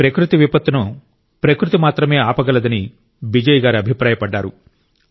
ఈ ప్రకృతి విపత్తును ప్రకృతి మాత్రమే ఆపగలదని బిజయ్ గారు అభిప్రాయపడ్డారు